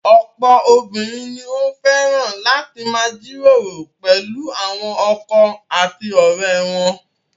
Ọ̀pọ̀ obìnrin ni ó fẹ́ràn láti máa jíròrò pẹ̀lú àwọn ọkọ àti ọ̀rẹ́ wọn.